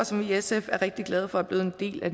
som vi i sf er rigtig glade for er blevet en del af